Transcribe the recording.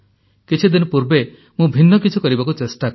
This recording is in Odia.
କିଛିଦିନ ପୂର୍ବେ ମୁଁ ଭିନ୍ନ କିଛି କରିବାକୁ ଚେଷ୍ଟା କଲି